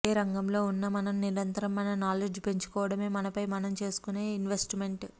ఏ రంగంలో ఉన్నా మనం నిరంతరం మన నాలెడ్జ్ పెంచుకోవడమే మనపై మనం చేసుకునే ఇనె్వస్ట్మెంట్